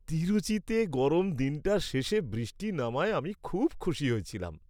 তিরুচিতে গরম দিনটার শেষে বৃষ্টি নামায় আমি খুব খুশি হয়েছিলাম।